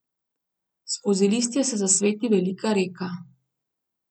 Skozi listje se zasveti velika reka.